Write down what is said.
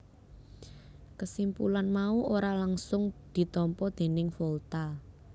Kesimpulan mau ora langgsung ditampa déning Volta